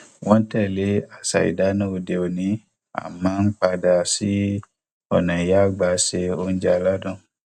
wọn ń tẹlé àṣà ìdáná òde òní àmọ ń padà sí ọnà ìyá àgbà ṣe oúnjẹ aládùn